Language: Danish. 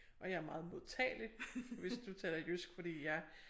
Og jeg er meget modtagelig hvis du snakker jysk fordi jeg